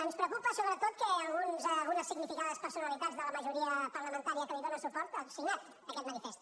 ens preocupa sobretot que algunes significades personalitats de la majoria parlamentària que li dóna suport han signat aquest manifest